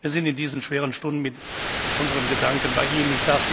Wir sind in diesen schweren Stunden mit unseren Gedanken bei ihnen.